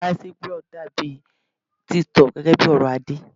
Miciblog dàbí tiktok gẹ́gẹ́ bí ọ̀rọ̀ Adé.